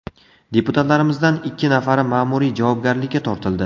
Deputatlarimizdan ikki nafari ma’muriy javobgarlikka tortildi.